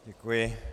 Děkuji.